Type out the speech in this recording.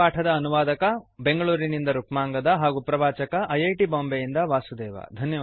ಈ ಪಾಠದ ಅನುವಾದಕ ಬೆಂಗಳೂರಿನಿಂದ ರುಕ್ಮಾಂಗದ ಆರ್ಯ ಹಾಗೂ ಪ್ರವಾಚಕ ಐ ಐ ಟಿ ಬಾಂಬೆಯಿಂದ ವಾಸುದೇವ